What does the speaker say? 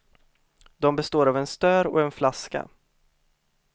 De består av en stör och en flaska.